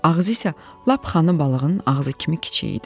Ağzı isə lap xana balığının ağzı kimi kiçik idi.